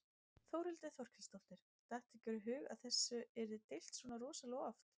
Þórhildur Þorkelsdóttir: Datt ykkur í hug að þessu yrði deilt svona rosalega oft?